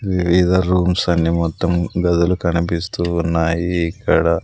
Rooms అన్ని మొత్తం గదులు కనిపిస్తూ ఉన్నాయి ఇక్కడ.